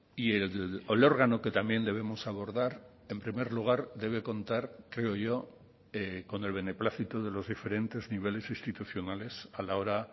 y el órgano que también debemos abordar en primer lugar debe contar creo yo con el beneplácito de los diferentes niveles institucionales a la hora